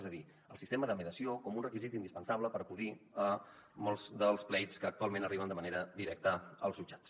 és a dir el sistema de mediació com un requisit indispensable per acudir a molts dels plets que actualment arriben de manera directa als jutjats